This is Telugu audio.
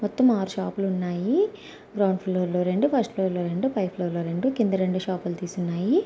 మొత్తం ఆరు షాపు లున్నాయి. గ్రౌండ్ ఫ్లోర్ లో రెండు ఫస్ట్ ఫ్లోర్ లో రెండు పై ఫ్లోర్ లో రెండు కింద రెండు షాపులు తీసున్నాయి.